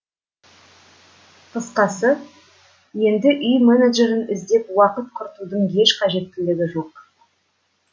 қысқасы енді үй менеджерін іздеп уақыт құртудың еш қажеттілігі жоқ